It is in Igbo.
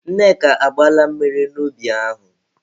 Nneka, agbaala mmiri n'ubi ahụ?